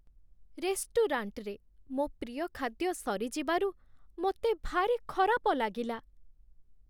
ରେଷ୍ଟୁରାଣ୍ଟରେ ମୋ ପ୍ରିୟ ଖାଦ୍ୟ ସରିଯିବାରୁ ମୋତେ ଭାରି ଖରାପ ଲାଗିଲା।